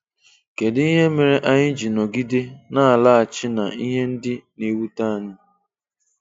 Kedu ihe mere anyị ji nọgide na-alaghachi na ihe ndị na-ewute anyị?